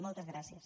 moltes gràcies